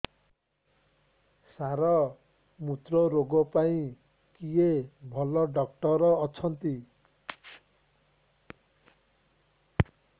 ସାର ମୁତ୍ରରୋଗ ପାଇଁ କିଏ ଭଲ ଡକ୍ଟର ଅଛନ୍ତି